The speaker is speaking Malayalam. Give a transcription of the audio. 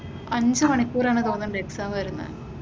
അഞ്ചു മണിക്കൂർ ആണെന്ന് തോന്നുന്നു എക്സാം വരുന്ന.